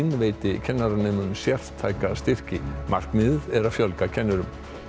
veiti kennaranemum sértæka styrki markmiðið er að fjölga kennurum